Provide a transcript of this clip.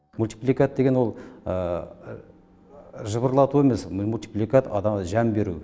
мультипликат деген ол жыбырлату емес мультипликат адамға жан беру